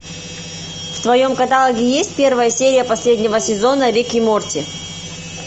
в твоем каталоге есть первая серия последнего сезона рик и морти